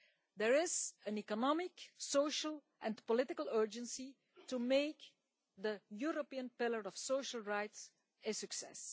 There is an economic, social and political urgency to make the European Pillar of Social Rights a success.